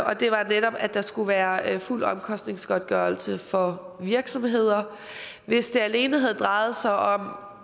og det var netop at der skulle være fuld omkostningsgodtgørelse for virksomheder hvis det alene havde drejet sig om